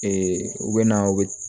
u bɛ na u bɛ